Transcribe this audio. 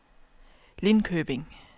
Lindköping